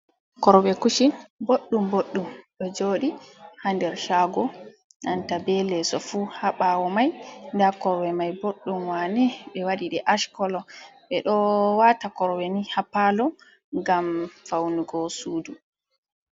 Korwe kushin boɗɗum boɗɗum ɗo joɗi ha nder shago, nanta be leso fu haɓawo mai, nda korwe mai boɗɗum wane ɓe waɗi ɗe ash kolo, ɓe ɗo wata korweni ha palo gam faunugo sudu.